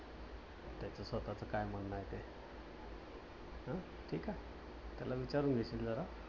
त्याचं स्वतःच काय म्हणणे आहे ते. अं ठीक आहे. त्याला विचारून घे तू जरा.